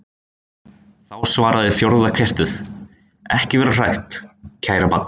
Þá svaraði fjórða kertið: Ekki vera hrætt, kæra barn.